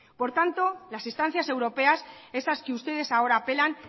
por tanto las instancias europeas esas que ustedes ahora apelan